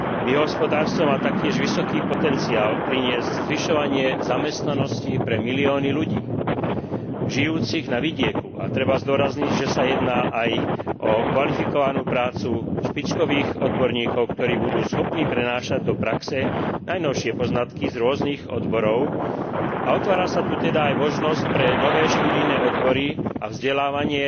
Biohospodárstvo má taktiež vysoký potenciál priniesť zvyšovanie zamestnanosti pre milióny ľudí žijúcich na vidieku a treba zdôrazniť, že sa jedná aj o kvalifikovanú prácu špičkových odborníkov, ktorí budú schopní prenášať do praxe najnovšie poznatky z rôznych odborov a otvára sa tu teda aj možnosť pre nové študijné odbory a vzdelávacie